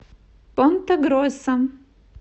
понта гроса